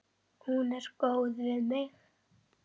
Hún er góð við mig.